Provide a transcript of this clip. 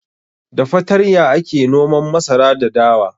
Da fatarya ake noman masara da dawa.